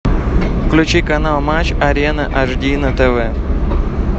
включи канал матч арена аш ди на тв